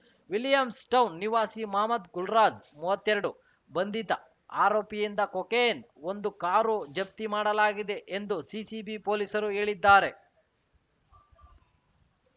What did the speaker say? Williams town ನಿವಾಸಿ ಮಹಮದ್‌ ಗುಲ್ರಾಜ್‌ ಮೂವತ್ತೆರಡು ಬಂಧಿತ ಆರೋಪಿಯಿಂದ ಕೊಕೇನ್‌ ಒಂದು ಕಾರು ಜಪ್ತಿ ಮಾಡಲಾಗಿದೆ ಎಂದು ಸಿಸಿಬಿ ಪೊಲೀಸರು ಹೇಳಿದ್ದಾರೆ